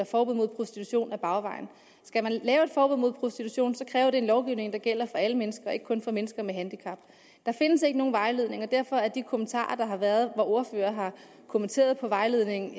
forbud mod prostitution ad bagvejen skal man lave et forbud mod prostitution kræver det en lovgivning der gælder for alle mennesker og ikke kun for mennesker med handicap der findes ikke nogen vejledning og derfor står de kommentarer der har været hvor ordførere har kommenteret vejledningen